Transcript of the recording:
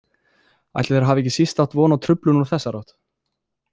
Ætli þeir hafi ekki síst átt von á truflun úr þessari átt?